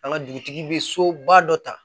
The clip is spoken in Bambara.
An ka dugutigi bɛ soba dɔ ta